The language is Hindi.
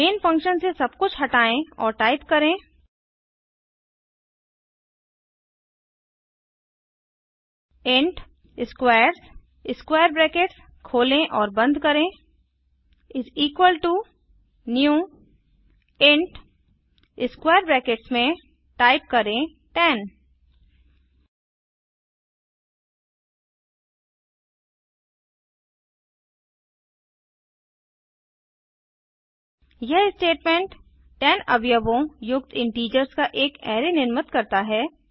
मेन फंक्शन से सब कुछ हटायें और टाइप करें इंट स्क्वेयर्स न्यू इंट 10 यह स्टेटमेंट 10 अवयवों युक्त इन्टीजर्स का एक अराय निर्मित करता है